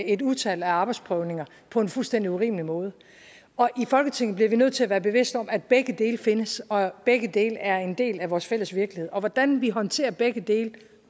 et utal af arbejdsprøvninger på en fuldstændig urimelig måde i folketinget bliver vi nødt til at være bevidst om at begge dele findes og at begge dele er en del af vores fælles virkelighed og hvordan vi håndterer begge dele